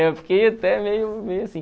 Eu fiquei até meio meio assim.